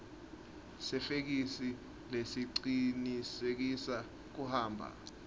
sefeksi lesicinisekisa kuhamba